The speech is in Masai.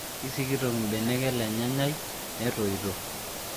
Keisikitok mbenek ele nyanyai netoito